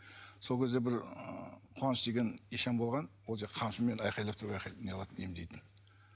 сол кезде бір куаныш деген ишан болған ол қамшымен айғайлап тұрып неғылатын емдейтін